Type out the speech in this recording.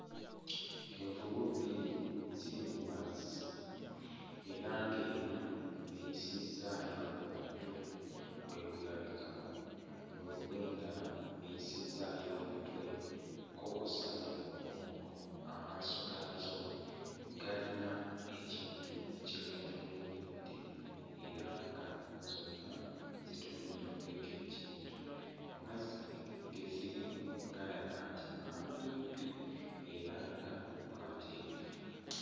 Envubu bbiri ziri mu mazzi era ng'emu eyisizzaayo omutwe tegulabikako. Envubu endala eyisizzaayo omutwe ko kw'ossa n'omugongo, amaaso gaazo galina ekintu kye gatunuulidde, era nga zonna zitunudde ku ekyo ekintu. Amazzi ge ge zirimu galaga nti mampimpi era nga mateefu.